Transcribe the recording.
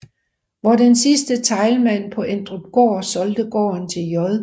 Hvor den sidste Teilman på Endrupholm solgte gården til J